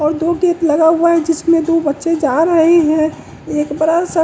और दो गेट लगा हुआ है जिसमें दो बच्चे जा रहे है एक बड़ा सा--